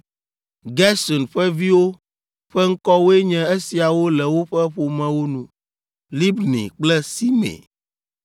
Gerson ƒe viwo ƒe ŋkɔwoe nye esiawo le woƒe ƒomewo nu: Libni kple Simei.